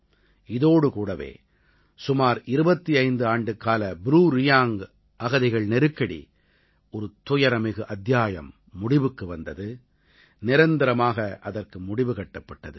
இதோடு கூடவே சுமார் 25 ஆண்டுக்கால ப்ரூரியாங்க் அகதிகள் நெருக்கடி ஒரு துயரமிகு அத்தியாயம் முடிவுக்கு வந்தது நிரந்தரமாக அதற்கு முடிவு கட்டப்பட்டது